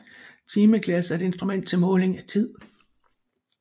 Timeglas er et instrument til måling af tid